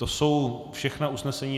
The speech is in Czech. To jsou všechna usnesení.